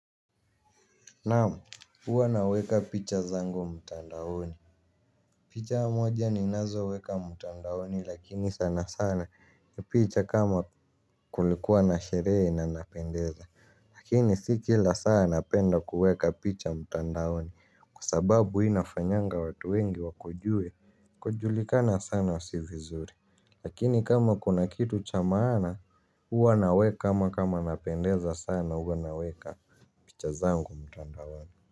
Naam, huwa naweka picha zangu mtandaoni. Picha moja ninazoweka mtandaoni lakini sana sana picha kama kulikuwa na sherehe na napendeza, lakini si kila saa napenda kuweka picha mtandaoni kwasababu hii inafanyanga watu wengi wakujue, kujulikana sana sio vizuri lakin kama kuna kitu cha maaana huwa naweka ama kama napendeza sana huwa naweka picha zangu mtandaoni.